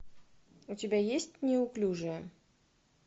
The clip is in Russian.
у тебя есть неуклюжие